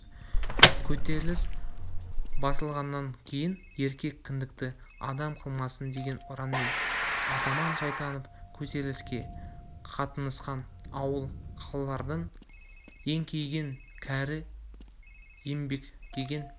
көтеріліс басылғаннан кейін еркек кіндікті адам қалмасын деген ұранмен атаман шайтанов көтеріліске қатынасқан ауыл қалалардың еңкейген кәрі еңбектеген